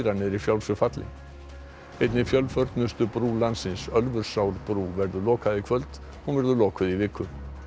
er í frjálsu falli einni fjölförnustu brú landsins Ölfusárbrú verður lokað í kvöld hún verður lokuð í viku